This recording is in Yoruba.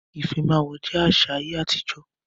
Ifímáwó jẹ àṣà ayé àtijọ́.